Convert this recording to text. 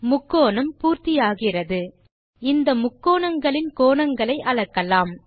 முக்கோணம் பூர்த்தி ஆகிறது இந்த முக்கோணங்களின் கோணங்களை அளக்கலாம்